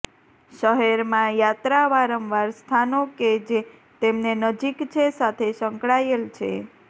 શહેરમાં યાત્રા વારંવાર સ્થાનો કે જે તેમને નજીક છે સાથે સંકળાયેલ છે